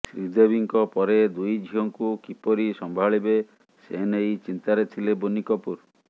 ଶ୍ରୀଦେବୀଙ୍କ ପରେ ଦୁଇ ଝିଅଙ୍କୁ କିପରି ସମ୍ଭାଳିବେ ସେ ନେଇ ଚିନ୍ତାରେ ଥିଲେ ବୋନି କପୁର